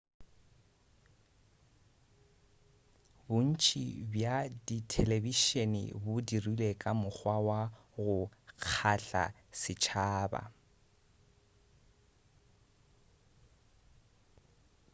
bontši bja dithelebišene bo dirilwe ka mokgwa wa go kgahla setšhaba